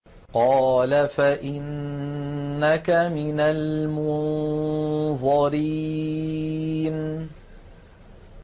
قَالَ فَإِنَّكَ مِنَ الْمُنظَرِينَ